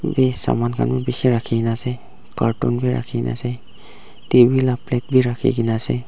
ete saman khan bishi rakhina ase cartoon vi rakhina ase T_V laga plate vi rakhina ase.